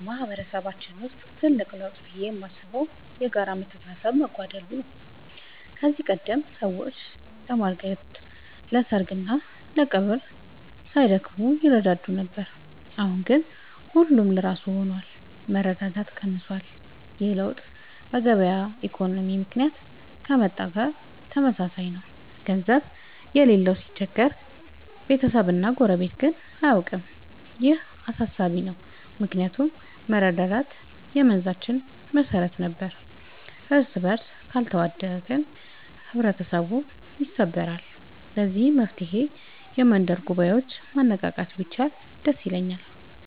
በማህበረሰባችን ውስጥ ትልቅ ለውጥ ብዬ የማስበው የጋራ መተሳሰብ መጓደል ነው። ከዚህ ቀደም ሰዎች ለማር ግርድ፣ ለሰርግና ለቀብር ሳይደክሙ ይረዳዱ ነበር። አሁን ግን ሁሉም ለራሱ ሆኗል፤ መረዳዳት ቀንሷል። ይህ ለውጥ በገበያ ኢኮኖሚ ምክንያት ከመጣ ጋር ተመሳሳይ ነው፤ ገንዘብ የሌለው ሲቸገር ቤተሰብና ጎረቤት ግን አያውቀውም። ይህ አሳሳቢ ነው ምክንያቱም መረዳዳት የመንዛችን መሰረት ነበር። እርስበርስ ካልተዋደቅን ህብረተሰቡ ይሰበራል። ለዚህ መፍትሔ የመንደር ጉባኤዎችን ማነቃቃት ቢቻል ደስ ይለኛል።